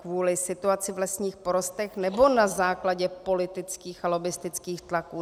Kvůli situaci v lesních porostech, nebo na základě politických a lobbistických tlaků?